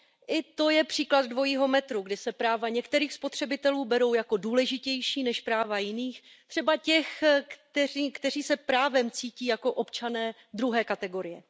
I to je příklad dvojího metru, kdy se práva některých spotřebitelů berou jako důležitější než práva jiných, třeba těch, kteří se právem cítí jako občané druhé kategorie.